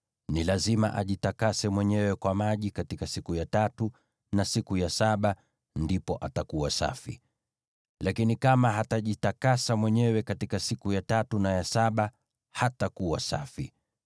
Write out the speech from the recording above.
Ni lazima ajitakase mwenyewe kwa maji katika siku ya tatu na siku ya saba, ndipo atakuwa safi. Lakini kama hatajitakasa mwenyewe katika siku ya tatu na ya saba, hatakuwa safi.